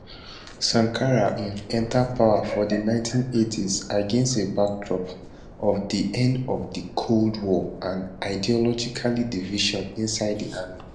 sankara um enta power for di 1980s against a backdrop of di end of di cold war and ideological divisions inside di army